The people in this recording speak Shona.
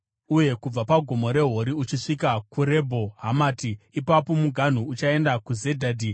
uye kubva paGomo reHori uchisvika kuRebho Hamati. Ipapo muganhu uchaenda kuZedhadhi,